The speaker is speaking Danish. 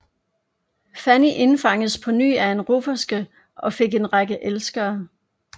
Fanny indfangedes på ny af en rufferske og fik en række elskere